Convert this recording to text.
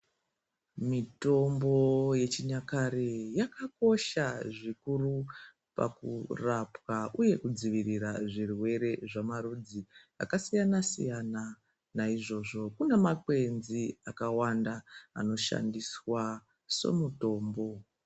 Mitombo yechinyakare yakakosha zvikuru pakurapwa uye kudzivirira zvirwere zvamarudzi akasiyana siyana ,naizvozvo kune makwedzi akawanda anoshandiswa somutombo.